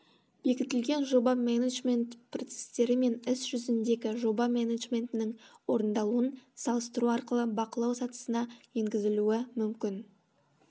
бекітілген жоба менеджмент процестері мен іс жүзіндегі жоба менеджментінің орындалуын салыстыру арқылы бақылау сатысына енгізілуі мүмкін